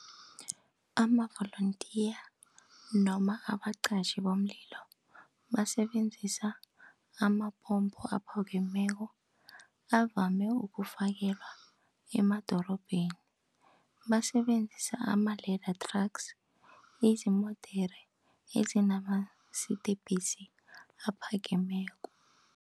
Amavolontiya noma abaqatjhi bomlilo basebenzisa amapompo aphakemeko, avame ukufakelwa emadorobheni. Basebenzisa ama-ledder trucks, izimodere ezinamasidi webhesi aphakemeko.